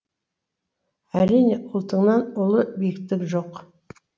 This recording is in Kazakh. әрине ұлтыңнан ұлы биіктік жоқ